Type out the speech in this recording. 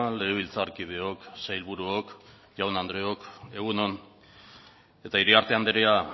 legebiltzarkideok sailburuok jaun andreok egun on eta iriarte andrea